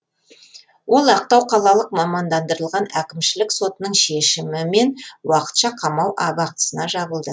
ол ақтау қалалық мамандандырылған әкімшілік сотының шешімен уақытша қамау абақтысына жабылды